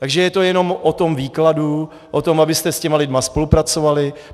Takže je to jenom o tom výkladu, o tom, abyste s těmi lidmi spolupracovali.